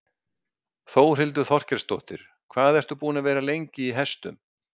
Þórhildur Þorkelsdóttir: Hvað ert þú búin að vera lengi í hestum?